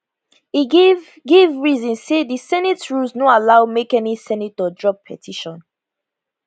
e give give reason say di senate rules no allow make any senator drop petition